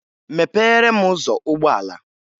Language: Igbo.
Mepere m ụzọ ụgbọala!